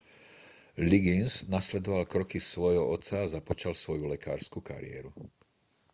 liggins nasledoval kroky svojho otca a započal svoju lekársku kariéru